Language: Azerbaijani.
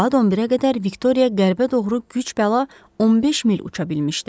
Saat 11-ə qədər Viktoriya qərbə doğru güc-bəla 15 mil uça bilmişdi.